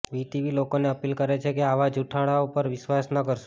VTV લોકોને appeal કરે છે કે આવા જુઠ્ઠાણાઓ પર વિશ્વાસ ન કરશો